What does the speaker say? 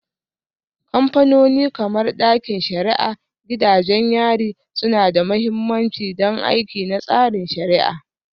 Kamfanoni kamar ɗakin shari'a, gidajen yari suna da mahimmanci don aiki na tsarin shari'a.